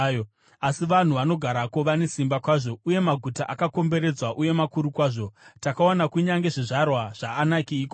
Asi vanhu vanogarako vane simba kwazvo, uye maguta akakomberedzwa uye makuru kwazvo. Takaona kunyange zvizvarwa zvaAnaki ikoko.